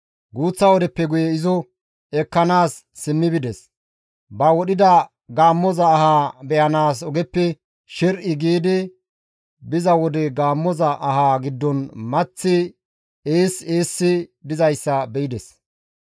Guuththa wodeppe guye izo ekkanaas simmi bides; ba wodhida gaammoza ahaa be7anaas ogeppe sher7i giidi biza wode gaammoza aha giddon maththi ees eessi dizayssa be7ides.